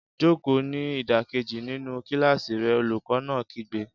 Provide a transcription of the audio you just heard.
Jókòó ní ìdákẹ́jẹ́ẹ́ nínú kíláàsì rẹ, olùkọ́ náà kígbe